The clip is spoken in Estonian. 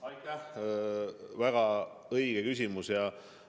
Aitäh, väga õige küsimus!